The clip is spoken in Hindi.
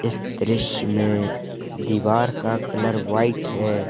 इस दृश्य में दीवार का कलर व्हाइट है।